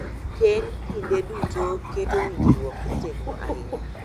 keny kinde duto keto winjruok motegno ahinya.